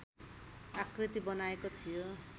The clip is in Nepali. आकृती बनाएको थियो